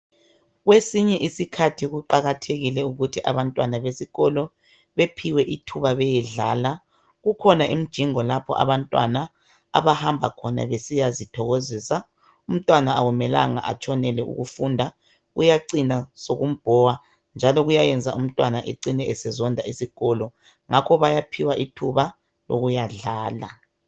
Kwesinye isikhathi kuqakathekile ukuthi abantwana besikolo bephiwe isikhathi sokuyadlala kukhona imijingo lapha abantwana abahamba besiya zithokozisa umntwana akumelanga atshonele ukufunda kuyacina sokumbhowa njalo kuyayenza umntwana ecine esezonda isikolo ngakho bayaphiwa ithuba lokuyadlala